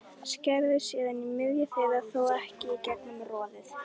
Skerðu síðan í miðju þeirra, þó ekki í gegnum roðið.